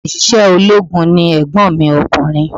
Òṣìṣẹ́ ológun ni ègbon mi ọkùnrin